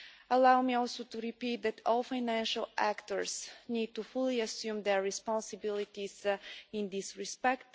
Allow me also to repeat that all financial actors need to fully assume their responsibilities in this respect.